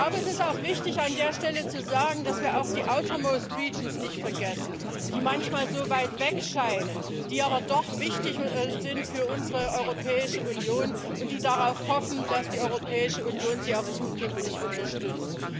Es ist auch wichtig, an der Stelle zu sagen, dass wir auch die Regionen in äußerster Randlage nicht vergessen, die manchmal so weit weg scheinen, die aber doch wichtig sind für unsere Europäische Union und die darauf hoffen, dass die Europäische Union sie auch zukünftig unterstützt.